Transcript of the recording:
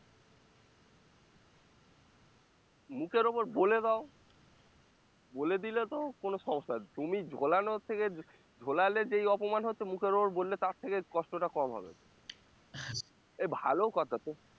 মুখের ওপর বলে দাও বলে দিলে তো কোনো সমস্যা তুমি ঝোলানোর থেকে ঝোলালে যেই অপমান হতে মুখের ওপর বললে তার থেকে কষ্টটা কম হবে এ ভালো কথা তো